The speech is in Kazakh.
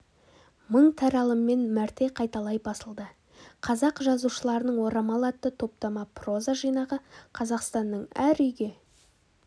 мың таралыммен мәрте қайталай басылды қазақ жазушыларының орамал атты топтама проза жинағы қазақстанның әр үйге